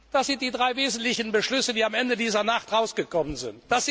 Das sind die drei wesentlichen Beschlüsse, die am Ende dieser Nacht herausgekommen sind.